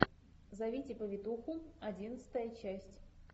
зовите повитуху одиннадцатая часть